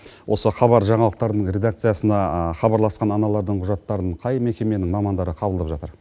осы хабар жаңалықтарының редакциясына хабарласқан аналардың құжаттарын қай мекеменің мамандары қабылдап жатыр